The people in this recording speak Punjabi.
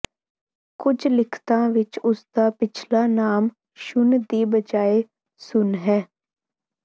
ਕੁਝ ਲਿਖਤਾਂ ਵਿੱਚ ਉਸਦਾ ਪਿਛਲਾ ਨਾਮ ਸ਼ੁਨ ਦੀ ਬਜਾਏ ਸੁਨ ਹੈ